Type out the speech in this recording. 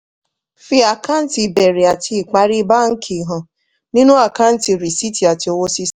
fi àkáǹtì ìbẹ̀rẹ̀ àti ìparí báńkì hàn nínú àkáǹtì rìsíìtì àti owó sísan.